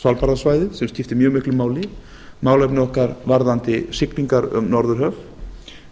svalbarðasvæðið sem skiptir mjög miklu máli málefni varðandi siglingar um norðurhöf